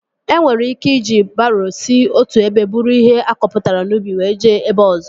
E nwere ike iji baroo si otu ebe buru ihe akọpụtara n'ubi were jee ebe ọzọ